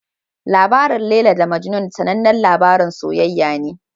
Labarin Laila da Majnun sanannen labarin soyayya ne.